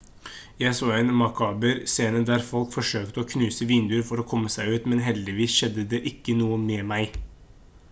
jeg så en makaber scene der folk forsøkte å knuse vinduer for å komme seg ut men heldigvis skjedde det ikke noe med meg